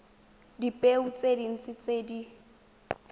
dipeo tse dintsi tse di